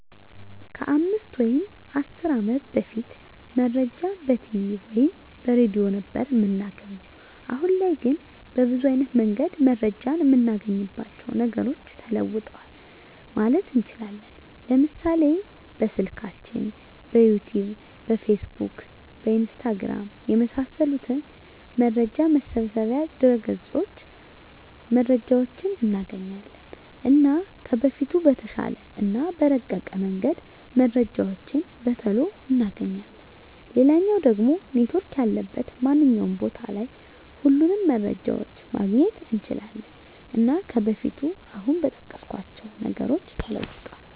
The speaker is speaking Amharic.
ከ 5 ወይም 10 አመት በፊት መረጃን በቲቪ ወይም በሬድዮ ነበር እምናገኘዉ። አሁን ላይ ግን በብዙ አይነት መንገድ መረጃን እምናገኝባቸዉ ነገሮች ተለዉጠዋል ማለት እንችላለን፤ ለምሳሌ፦ በስልካችን፣ በዩቱዩብ፣ በፌስቡክ፣ በኢንስታግራም፣ የመሳሰሉት መረጃ መሰብሰቢያ ድረገፆች መረጃዎችን እናገኛለን። እና ከበፊቱ በተሻለ እና በረቀቀ መንገድ መረጃዎችን በቶሎ እናገኛለን፣ ሌላኛዉ ደሞ ኔትዎርክ ያለበት ማንኛዉም ቦታ ላይ ሁሉንም መረጃዎችን ማግኘት እንችላለን። እና ከበፊቱ አሁን በጠቀስኳቸዉ ነገሮች ተለዉጧል።